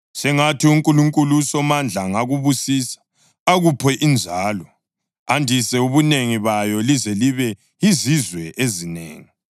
Sengathi uNkulunkulu uSomandla angakubusisa akuphe inzalo, andise ubunengi bayo lize libe yizizwe ezinengi.